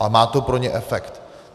A má to pro ně efekt.